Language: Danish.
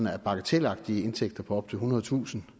er bagatelagtige indtægter på ethundredetusind